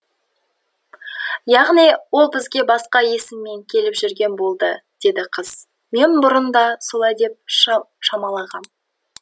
яғни ол бізге басқа есіммен келіп жүрген болды деді қыз мен бұрын да солай деп шамалағам